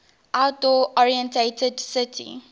outdoor oriented city